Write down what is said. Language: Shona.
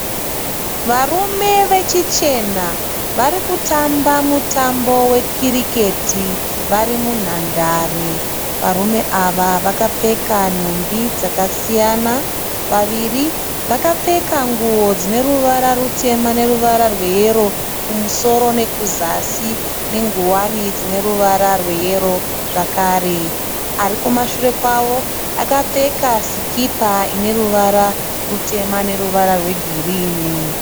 Varume vechichena vari kutamba mutambo wekiriketi varri munhandare, varume ava vakapfeka nhumbi dzakasiyana. vaviri vakapfeka nguwo dzine ruvara rutema ne ruvara rweyero kumusoro nekuzasi nenguwani ine ruvara rweyerozvakare ari kumashure kwavo akapfeka sikipa ine ruvara rutema neruvara rwegirini